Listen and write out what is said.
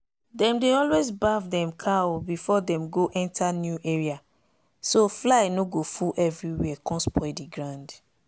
dem dey always baff dem cow before dem go enter new area so fly no go full everywhere con spoil the ground.